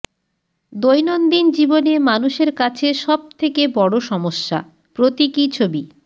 দৈনন্দিন জীবনে মানুষের কাছে সব থেকে বড় সমস্যা প্রতীকী ছবি